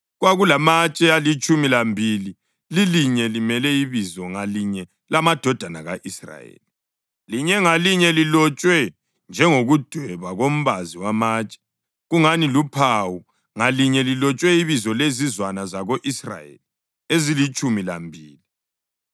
Kwakulamatshe alitshumi lambili, lilinye limele ibizo ngalinye lamadodana ka-Israyeli, linye ngalinye lilotshwe njengokudweba kombazi wamatshe, kungani luphawu, ngalinye lilotshwe ibizo lezizwana zako-Israyeli ezilitshumi lambili.